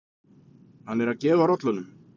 Hann er að gefa rollunum.